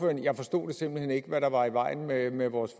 men jeg forstod simpelt hen ikke hvad der var i vejen med med vores